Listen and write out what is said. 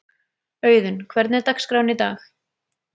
Auðun, hvernig er dagskráin í dag?